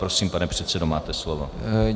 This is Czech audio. Prosím, pane předsedo, máte slovo.